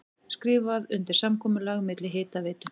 Skrifað undir samkomulag milli Hitaveitu